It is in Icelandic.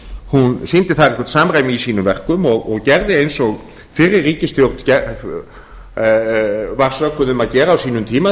hún sýndi þar eitthvert samræmi í sínum verkum og gerði eins og fyrri ríkisstjórn var sökuð um að gera á sínum tíma